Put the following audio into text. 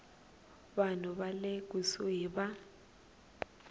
vanhu va le kusuhi va